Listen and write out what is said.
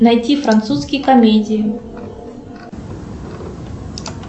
найти французские комедии